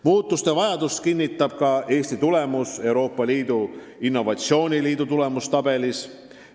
Muutuste vajadust kinnitab ka Eesti tulemus Euroopa Liidu innovatsiooniliidu tulemustabelis.